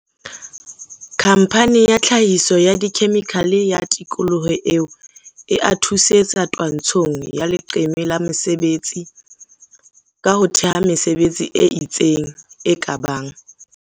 khamphane ya tlhahiso ya dikhemikhale ya tikoloho eo e a thusetsa twantshong ya leqeme la mesebetsi ka ho thea mesebetsi e itseng e ka bang